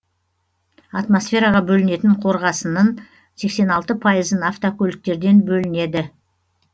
атмосфераға бөлінетін қорғасыннын сексен алты пайызын автокөліктерден бөлінеді